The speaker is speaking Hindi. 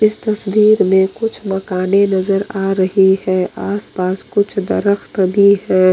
इस तस्वीर में कुछ मकानें नजर आ रही है आस-पास कुछ दरख्त भी हैं।